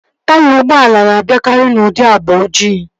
Taya ụgbọala na-abịakari n'ụdị agba ojii